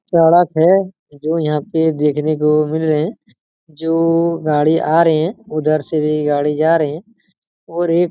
सड़क है जो यहाँ पे देखने को मिल रही है जो गाड़ी आ रही है उधर से भी गाड़ी जा रही है और एक--